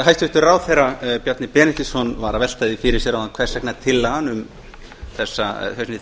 hæstvirtur ráðherra bjarni benediktsson var að velta því fyrir sér áðan hvers vegna þessi